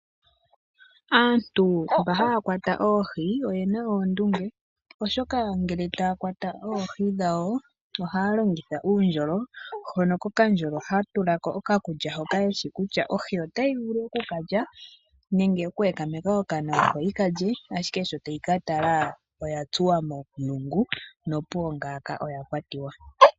Aantu mba haya kwata oohi oyena oondunge, oshoka ngele taya kwata oohi dhawo ohaya longitha uundjolo hono koka ndjolo ha tulako oka kulya, hoka yeshi kutya ohi ota yi vulu oku kalya nenge ta yi vulu oku ekameka okana, opo yi kalye ashike sho ta yi katala oya tsuwa momulungu nopuwo ngaaka oya kwatiwa.